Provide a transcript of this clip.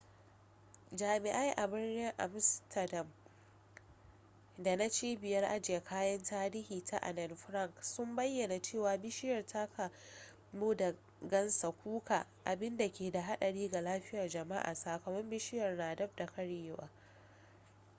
jami'ai a birnin amsterdam da na cibiyar ajiye kayan tarihi ta anne frank sun bayyana cewa bishiyar ta kamu da gansa kuka abinda ke da hadari ga lafiyar jama'a sakamakon bishiyar na daf da karyewa